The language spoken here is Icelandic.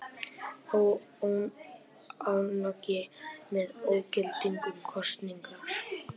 Óánægja með ógildingu kosningar